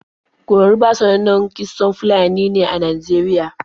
Koroba sanannan kitson Fulani ne a Najeriya.